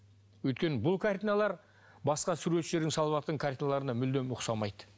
өйткені бұл картиналар басқа суретшілердің салыватқан картиналарына мүлдем ұқсамайды